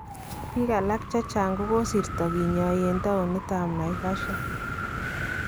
Biik alaak chechang kokasiirta kinyaai en towunit ab Naivasha